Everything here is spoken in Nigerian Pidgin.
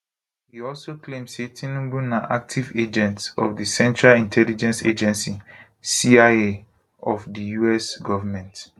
e also claim say tinubu na active agent of central intelligence agency cia of di us goment